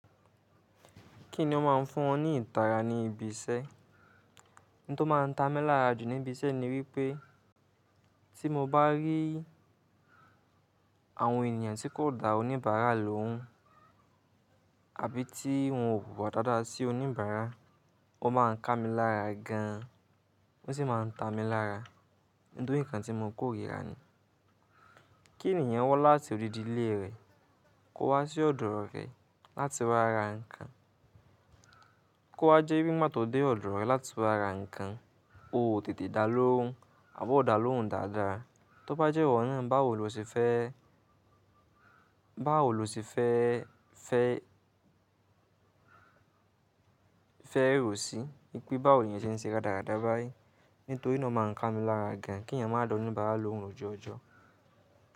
Kí ni ó má a ń fún ọ ní ìtara ní ibi iṣẹ́? Ohun tó má a ń ta mi lára jù ní ibi iṣẹ́ ni wípẹ́ tí mo bá rí àwọn ènìyàn tí kò da oníbàárà lóhùn àbí ti wọ́n ò wuwà dáadáa sí oníbàárà, ó má a ń ká mi lára gan an. Ó sì máa ń ta mi lára nítorí nǹkan tí mo kórìíra ni. Kí ènìyàn wá láti odidi ilé rẹ̀ kó wá sí ọ̀dọ̀ rẹ láti wá ra nǹkan, kó wá jẹ́ wípé ngbá tó dé ọ̀dọ̀ rẹ láti wá ra nǹkan, o ò tètè dá lóhùn àbọ́ ò dá lóhùn dáadáa. Tó bá jẹ́ ìwọ náà báwo lo ṣe fẹ́, báwo lo ṣe fẹ́, fẹ́, fẹ́ rò sí i pé báwo ni ẹ́ ṣe ń ṣe radáradá báyìí nítorí náà má a ń ká mi lára gan an kí ènìyàn máa da oníbàárà lóhùn lòjuojò.